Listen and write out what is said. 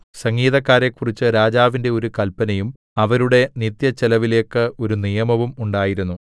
സംഗീതക്കാരെക്കുറിച്ച് രാജാവിന്റെ ഒരു കല്പനയും അവരുടെ നിത്യച്ചെലവിലേയ്ക്ക് ഒരു നിയമവും ഉണ്ടായിരുന്നു